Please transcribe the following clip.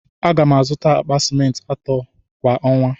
A ga m azụta akpa ciment ato kwa ọnwa.